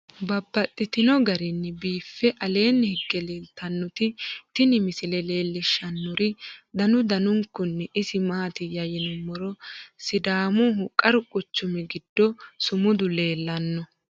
Babaxxittinno garinni biiffe aleenni hige leelittannotti tinni misile lelishshanori danu danunkunni isi maattiya yinummoro sidaamuho qaru quchummi giddo sumudu leelanno